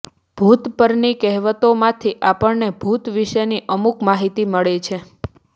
ભૂત પરની કહેવતોમાંથી આપણને ભૂત વિશેની અમુક માહિતી મળે છે